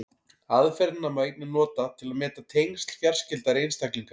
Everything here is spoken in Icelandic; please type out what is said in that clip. Aðferðina má einnig nota til að meta tengsl fjarskyldari einstaklinga.